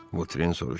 Votren soruşdu: